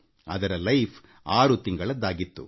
ಅದರ ಜೀವಿತಾವಧಿ ಆರು ತಿಂಗಳದ್ದಾಗಿತ್ತು